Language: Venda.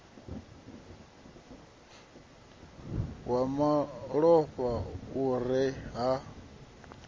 wa malofha u re nha